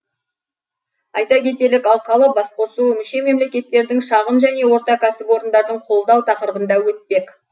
айта кетелік алқалы басқосу мүше мемлекеттердің шағын және орта кәсіпорындарын қолдау тақырыбында өтпек